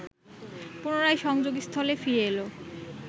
পুনরায় সংযোগস্থলে ফিরে এল